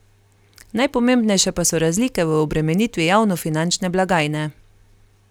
Najpomembnejše pa so razlike v obremenitvi javnofinančne blagajne.